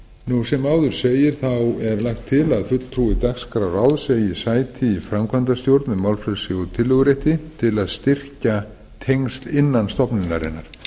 nú sem áður segir þá er lagt til að fulltrúi dagskrárráðs eigi sæti í framkvæmdastjórn með málfrelsi og tillögurétti til að styrkja tengsl innan stofnunarinnar